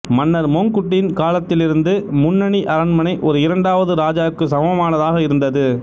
மன்னர் மொங்க்குட்டின் காலத்திலிருந்து முன்னணி அரண்மனை ஒரு இரண்டாவது ராஜா க்கு சமமானதாக இருந்தது